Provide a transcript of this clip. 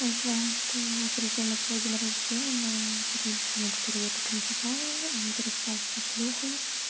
вот пришёл на свой день рождения на вечеринку на которую я так и не попала он переспал со шлюхой